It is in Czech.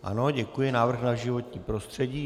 Ano, děkuji, návrh na životní prostředí.